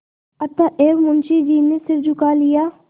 अतएव मुंशी जी ने सिर झुका लिया